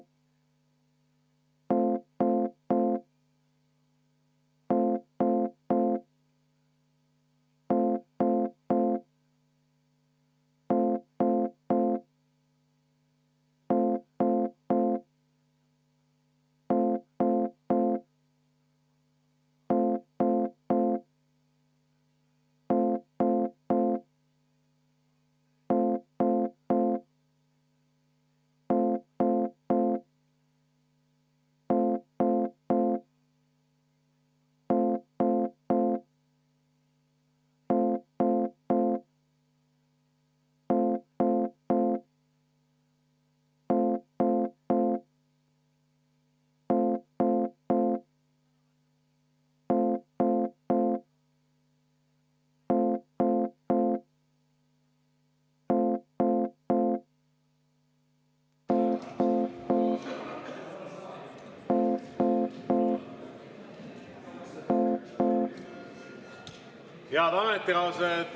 Head ametikaaslased!